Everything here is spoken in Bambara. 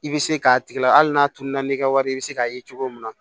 I bɛ se k'a tigi lahali n'a tunun na n'i ka wari i bɛ se k'a ye cogo min na